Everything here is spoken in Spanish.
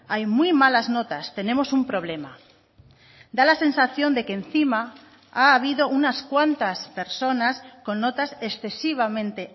hay muy malas notas tenemos un problema da la sensación de que encima ha habido unas cuantas personas con notas excesivamente